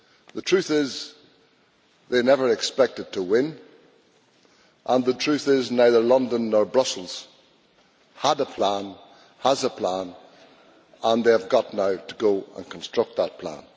The truth is they never expected to win, and the truth is, neither London nor Brussels had a plan, has a plan, and they now have to go and construct that plan.